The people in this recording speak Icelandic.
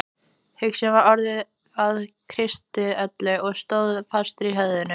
Hugsunin var orðin að kristöllum sem stóðu fastir í höfðinu.